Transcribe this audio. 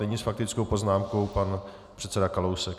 Nyní s faktickou poznámkou pan předseda Kalousek.